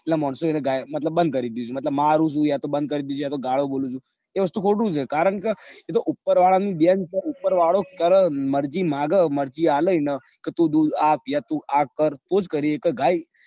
એટલે માણસો એને ગાય મતલબ બન્દ કરી દીધું મતલબ માર યા યાતો બેન્ડ કરી દીધું બીજી આતો ગાળો બોલ ચ એ વસ્તુ ખોટું છે કારણ કે એતો ઉપ્પર વાળા ની દેન ચ ઉપ્પર વાળો કર મરજી માંગ મરજી આલ એન કે તું દૂધ આપ તું આ કર તો જ કરી સક